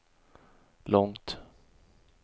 långt